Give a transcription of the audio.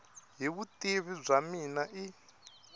hi vutivi bya mina i